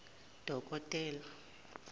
dokotela